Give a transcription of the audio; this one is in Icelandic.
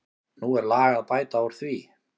Nú er lag að bæta úr því.